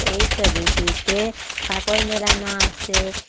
এই ছবিটিতে কাপড় মেলানো আসে।